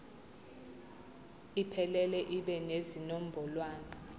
iphelele ibe nezinombolwana